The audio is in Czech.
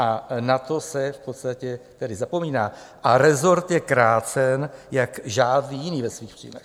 A na to se v podstatě tedy zapomíná a resort je krácen jako žádný jiný ve svých příjmech.